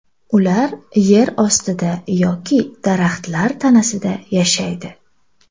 Ular yer ostida yoki daraxtlar tanasida yashaydi.